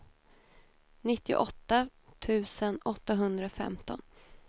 nittioåtta tusen åttahundrafemton